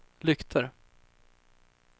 lyktor